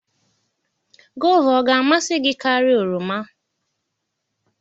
Goova ọ ga-amasị gị karịa oroma?